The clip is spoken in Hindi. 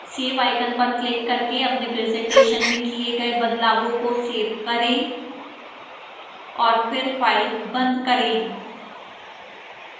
save icon पर क्लिक करके अपने presentation में किए गए बदलावों को सेव करें और फिर फाइल बंद करें